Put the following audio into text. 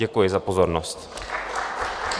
Děkuji za pozornost.